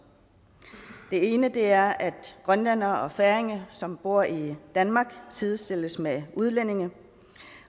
den ene er at grønlændere og færinger som bor i danmark sidestilles med udlændinge